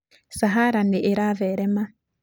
Sahara nĩ ĩratherema.